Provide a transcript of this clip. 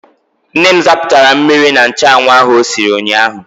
Nne m zapụtara mmiri na nchụanwụ ahụ o siri ụnyaahụ.